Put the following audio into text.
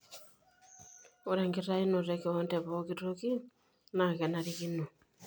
Ore enkitainoto ekowon tepooki toki naa kenarikino.